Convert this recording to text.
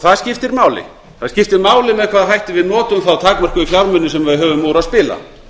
það skiptir máli með hvaða hætti við notum þá takmörkuðu fjármuni sem við höfum úr að spila